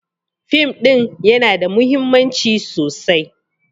Fim ɗin yana da mahimmanci sosai.